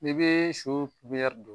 I bɛ su pipiniyɛri don